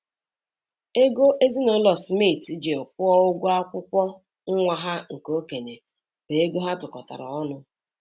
Ego ezinụlọ Smith ji kwụọ ụgwọ akwụkwọ nwa ha nke okenye bụ ego ha tụkọtara ọnụ.